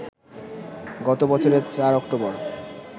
গত বছরের ৪ অক্টোবর